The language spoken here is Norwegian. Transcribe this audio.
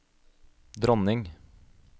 dronning